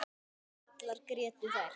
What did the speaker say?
Allar grétu þær.